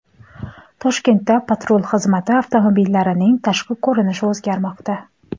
Toshkentda patrul xizmati avtomobillarining tashqi ko‘rinishi o‘zgarmoqda .